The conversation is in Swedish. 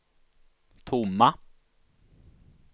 tomma